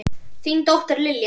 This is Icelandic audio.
Þín dóttir, Lilja.